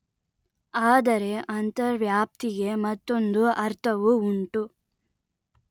ಆದರೆ ಅಂತರ್ವ್ಯಾಪ್ತಿಗೆ ಮತ್ತೊಂದು ಅರ್ಥವೂ ಉಂಟು